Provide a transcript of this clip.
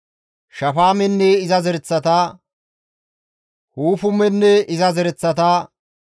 Shafaamenne iza zereththata, Hufumenne iza zereththata,